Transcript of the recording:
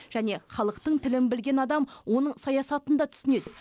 және халықтың тілін білген адам оның саясатын да түсінеді